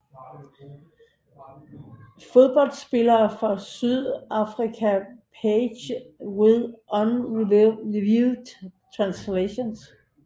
Fodboldspillere fra Sydafrika Pages with unreviewed translations